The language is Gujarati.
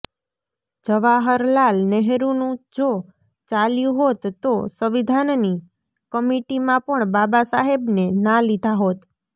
જવાહરલાલ નેહરુનું જો ચાલ્યું હોત તો સંવિધાનની કમિટીમાં પણ બાબાસાહેબને ના લીધા હોત